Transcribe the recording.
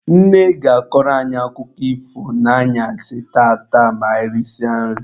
Nne ga-akọrọ anyị akụkọ ifo n'anyasị tata ma anyị risie nri.